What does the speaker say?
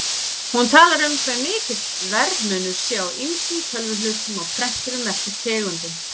Hún talar um hve mikill verðmunur sé á ýmsum tölvuhlutum og prenturum eftir tegundum.